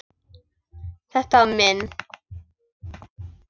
Þetta var minn.